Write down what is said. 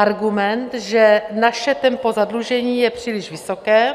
Argument, že naše tempo zadlužení je příliš vysoké